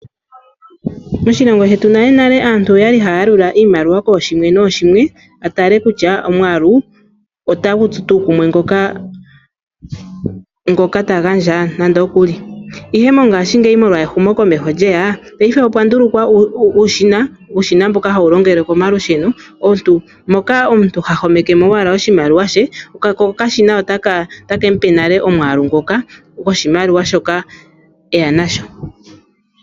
Moshilongo shetu nale nale aantu oyali hayalula iimaliwa koshimwe noshimwe a tale kutya omwalu ota gutsu tu kumwe ngoka ta gandja nande okuli ihe mongashingeyi molwa ehumo komeho lyeya payife opwa ndulukwa uushina, uushina mboka hawu longele komalusheno moka omuntu ha homeke mo owala oshimaliwa she, ko okashina otaka gandja nale omwaalu ngoka goshimaliwa shoka eya nasho.